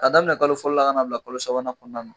A daminɛ kalo fɔlɔ la ka n'a bila kolo sabanan kɔnɔna na